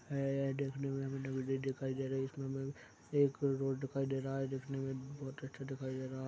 ए ए देखने में हमें नदी दिखाई दे रही है इसमें हमें एक रोड दिखाई दे रहा है दिखने में बहुत अच्छा दिखाई दे रहा--